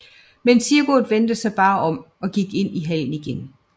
Men Sigurd vendte sig bare om og gik ind i hallen igen